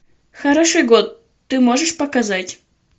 хороший год ты можешь показать